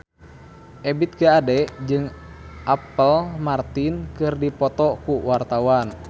Ebith G. Ade jeung Apple Martin keur dipoto ku wartawan